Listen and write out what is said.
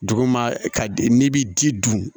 Duguma ka di n'i bɛ ji dun